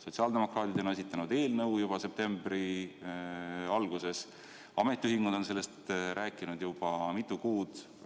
Sotsiaaldemokraadid on esitanud sellekohase eelnõu juba septembri alguses, ametiühingud on sellest rääkinud juba mitu kuud.